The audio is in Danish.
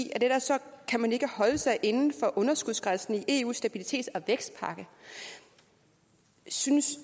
ellers kan man ikke holde sig inden for underskudsgrænsen i eus stabilitets og vækstpagt synes